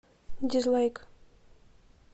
дизлайк